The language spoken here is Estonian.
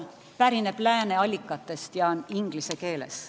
... pärineb lääne allikatest ja on inglise keeles.